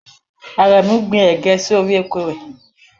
Àrẹ̀mú gbin ẹ̀gé sí orí oko rẹ̀.